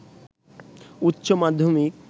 উচ্চ মাধ্যমিক